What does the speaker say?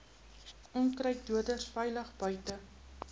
onkruiddoders veilig buite